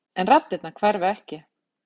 En raddirnar hverfa ekki.